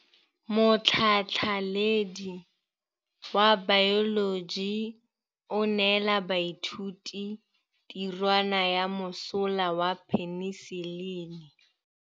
Motlhatlhaledi wa baeloji o neela baithuti tirwana ya mosola wa peniselene.